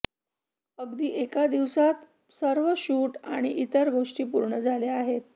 अगदी एका दिवसात सर्व शूट आणि इतर गोष्टी पूर्ण झाल्या आहेत